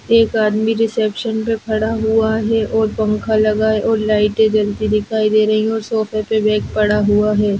एक आदमी रिसेप्शन पे खड़ा हुआ है और पंखा लगा है और लाइटें जलती दिखाई दे रही हैं और सोफे पर बैग पड़ा हुआ है।